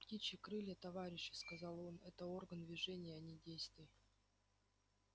птичьи крылья товарищи сказал он это орган движения а не действий